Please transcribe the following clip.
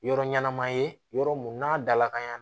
Yɔrɔ ɲɛnama ye yɔrɔ mun n'a dalakan y'an